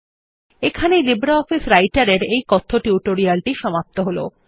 এখানেই লিব্রিঅফিস রাইটের এর এই কথ্য টিউটোরিয়াল টি সমাপ্ত হল